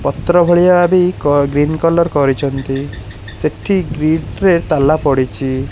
ପତ୍ର ଭଳିଆ ବି କ ଗ୍ରୀନ କଲର୍ କରିଛନ୍ତି ସେଠି ଗ୍ରିଟରେ ତାଲା ପଡ଼ିଛି।